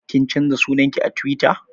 Kin canza sunan ki a Tiwita?